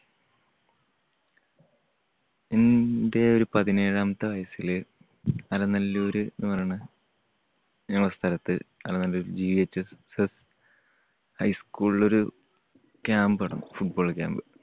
എൻ്റെ ഒരു പതിനേഴാമത്തെ വയസ്സില് അലനല്ലൂര് എന്ന് പറയണ ഞങ്ങൾടെ സ്ഥലത്ത് അലനല്ലൂർ GVHSS high school ൽ ഒരു camp നടന്നു football camp.